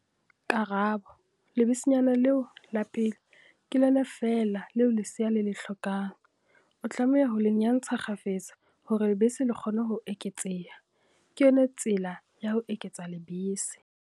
Karabo- Lebesenyana leo la pele, ke lona feela leo lesea le le hlokang. O tlameha ho le nyantsha kgafetsa hore lebese le kgone ho eketseha, ke yona tsela ya ho eketsa lebese.